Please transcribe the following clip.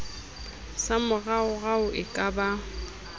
sa moraorao e ka ba